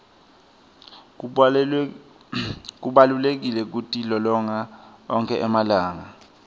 kubalulekile kutilolonga onkhe emalanga